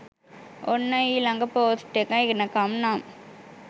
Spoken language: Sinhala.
ඔන්න ඊලඟ පෝස්ට් එක එනකම් නම්